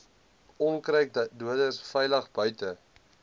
onkruiddoders veilig buite